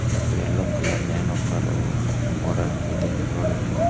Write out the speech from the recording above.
ಮತ್ತೆ yellow colour Nano car ಓಡಾಡ್ತಿದೆ road ಲ್ಲಿ.